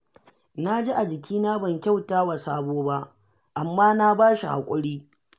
Na ji a jikina ban kyauta wa Sabo ba, amma na ba shi haƙuri